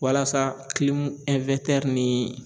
Walasa ni